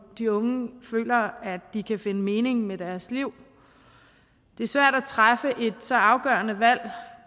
de unge føler at de kan finde mening med deres liv det er svært at træffe et så afgørende valg